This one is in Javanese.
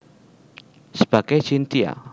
Sebagai Chintya